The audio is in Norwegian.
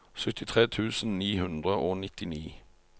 syttitre tusen ni hundre og nittini